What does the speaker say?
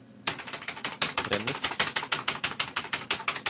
premiss